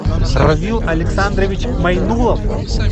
равил александрович майнулов